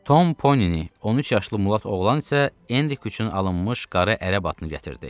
Tom Ponini, 13 yaşlı Mulat oğlan isə Enrik üçün alınmış qara ərəbatını gətirdi.